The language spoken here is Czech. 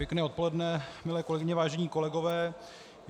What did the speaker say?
Pěkné odpoledne, milé kolegyně, vážení kolegové.